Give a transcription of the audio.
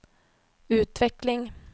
utveckling